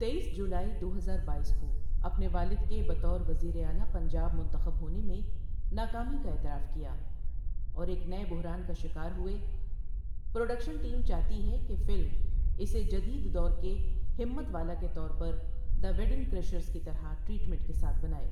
تیئس جولائی دو ہزار بائیس کو اپنے والد کے بہ طور وزیر اعلیٰ پنجاب منتخب ہونے میں ناکامی کا اعتراف کیا اور ایک نئۓ بحران کا شکار ہوئے پروڈکشن ٹیم چاہتی ہے کہ فلم اسے جدید دور کے ہمت والا کے طور پر دی ویڈنگ کریشرز کی طرح ٹریٹمنٹ کے ساتھ بناے۔